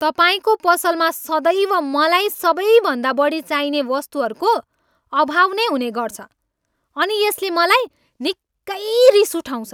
तपाईँको पसलमा सदैव मलाई सबैभन्दा बढी चाहिने वस्तुहरूको अभाव नै हुने गर्छ अनि यसले मलाई निकै रिस उठाउँछ।